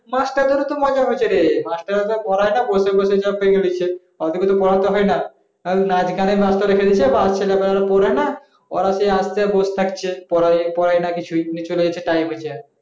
মাস্টারদেরও তো মজা হচ্ছে রে, মাস্টার ও তো পরে না বসে বসে job পেয়ে নিচ্ছে ওদিকে তো পড়াতে হয় না খালি নাচ গানে ব্যস্ত রেখে দিয়েছে বাস ছেলেপেলেরা পড়েনা